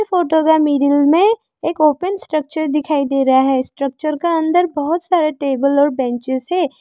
Photo के middle में एक ओपन स्ट्रक्चर दिखाई दे रहा है स्ट्रक्चर का अंदर बहुत सारे टेबल और बेंचेज है।